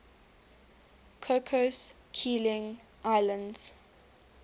cocos keeling islands